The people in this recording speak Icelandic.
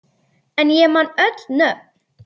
En ég man öll nöfn.